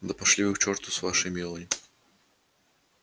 да пошли вы к черту с вашей мелани